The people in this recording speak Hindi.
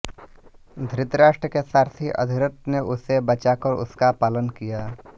धृतराष्ट्र के सारथी अधिरथ ने उसे बचाकर उसका पालन किया